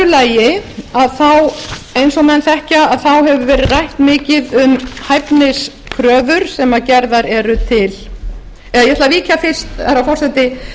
lagi eins og menn þekkja hefur verið rætt mikið um hæfniskröfur eða ég ætla að víkja fyrst herra forseti